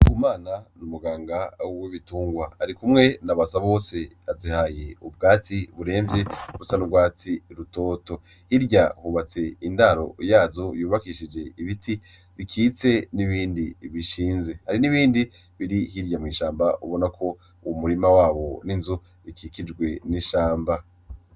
Ndikumana n'umuganga w'ibitungwa arikumwe na Basabose azihaye ubwatsi buremvye busa n'urwatsi rutoto, hirya hubatse indaro yazo yubakishije ibiti bikitse n'ibindi bishinze, hari n'ibindi biri hirya mw'ishamba ubona ko umurima wawo n'inzu ukikijwe n'ishamba.